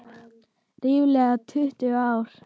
Ríflega tuttugu ár.